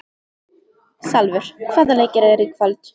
Salvör, hvaða leikir eru í kvöld?